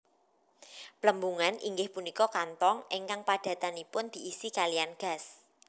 Plembungan inggih punika kantong ingkang padatanipun diisi kaliyan gas